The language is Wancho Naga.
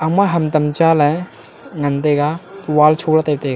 ma ham tam chaley ngan taga wall choley taitaiga.